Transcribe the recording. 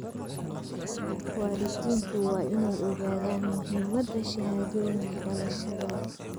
Waalidiintu waa inay ogaadaan muhiimada shahaadooyinka dhalashada.